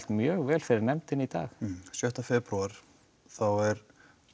mjög vel fyrir nefndinni í dag sjötta febrúar þá er